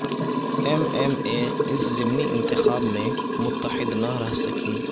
M M A اس ضمنی انتخاب میں متحد نہ رہ سکی